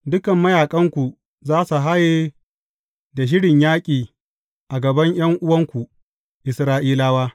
Dukan mayaƙanku za su haye da shirin yaƙi a gaban ’yan’uwanku, Isra’ilawa.